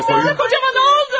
Kocamıza nə oldu?